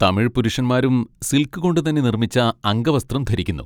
തമിഴ് പുരുഷന്മാരും സിൽക്ക് കൊണ്ടുതന്നെ നിർമ്മിച്ച അംഗവസ്ത്രം ധരിക്കുന്നു.